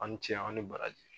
Aw ni ce aw ni baraji.